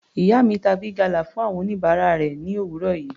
Ìyá mi ta Big gala fún àwọn oníbàárà rẹ̀ ni òwúrọ̀ yìí.